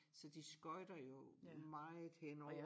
Så de skøjter jo meget henover